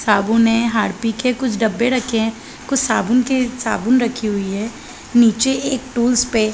साबुन है हार्पिक है कुछ डब्बे रखे है कुछ साबुन की कुछ साबुन रखीं हुई है नीचे एक टूल्स पे --.